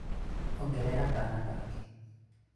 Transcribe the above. ongerea kana kangĩ